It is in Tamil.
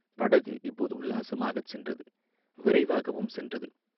படகு இப்போது உல்லாசமாகச் சென்றது, விரைவாகவும் சென்றது.